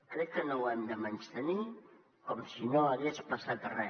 crec que no ho hem de menystenir com si no hagués passat re